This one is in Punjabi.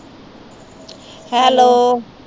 ਹੈਲੋ